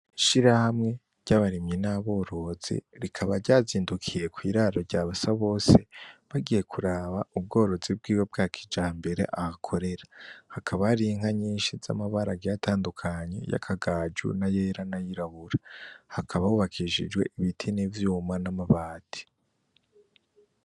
Ishirahamwe ry'abarimyi n'aborozi, rikaba ryazindukiye kw'iraro rya Basabose, bagiye kuraba ubworozi bwiwe bwa kijambere ahakorera. Hakaba hari inka nyinshi z'amabara agiye atandukanye, y'akagajo n'ayera n'ayirabura. Hakaba hubakishijwe ibiti n'ivyuma n'amabati.